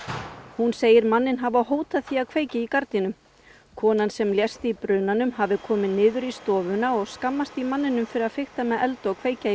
hún segir manninn hafa hótað því að kveikja í gardínum konan sem lést í brunanum hafi komið niður í stofuna og skammast í manninum fyrir að fikta með eld og kveikja í